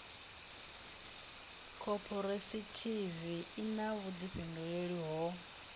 khophorethivi i na vhuḓifhinduleli ho